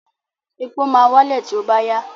Epo máa wálẹ̀ tí ó bá yá.